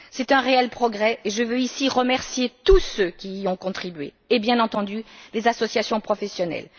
C'est un réel progrès, et je veux ici remercier tous ceux qui y ont contribué et, bien entendu, les associations professionnelles.